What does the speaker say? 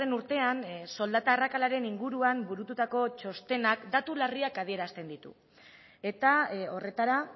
urtean soldata arrakalaren inguruan burututako txostenak datu larriak adierazten ditu eta horretara